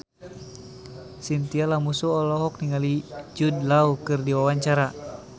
Chintya Lamusu olohok ningali Jude Law keur diwawancara